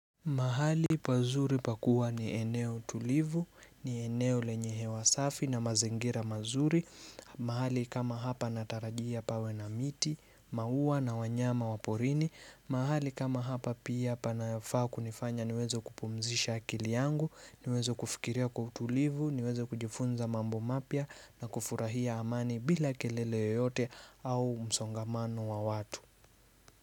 Mahali pazuri pakuwa ni eneo tulivu, ni eneo lenye hewa safi na mazingira mazuri. Mahali kama hapa natarajia pawe na miti, mauwa na wanyama waporini. Mahali kama hapa pia panafaa kunifanya niwezo kupumzisha akili yangu, niwezo kufikiria kwa tulivu, niwezo kujifunza mambo mapia na kufurahia amani bila kelele yoyote au msongamano wa watu.